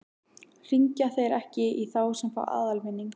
Hringja þeir ekki í þá sem fá aðalvinning?